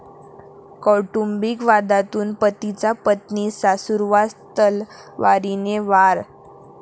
कौटुंबिक वादातून पतीचा पत्नी, सासूवर तलवारीने वार